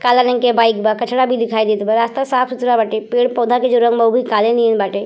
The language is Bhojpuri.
काला रंग के बाइक बा। कचड़ा भी दिखाइ देत बा। रास्ता साफ सुथरा बाटे। पेड़ पौधा के जो रंग बा उहो काले नियन बाटे।